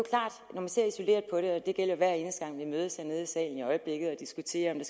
man ser isoleret på det og det gælder jo hver eneste gang vi mødes hernede i salen i øjeblikket og diskuterer